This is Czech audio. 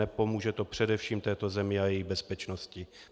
Nepomůže to především této zemi a její bezpečnosti.